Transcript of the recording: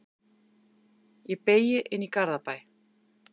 Ég beygi inn í Garðabæ.